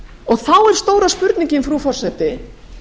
og þá er stóra spurningin frú forseti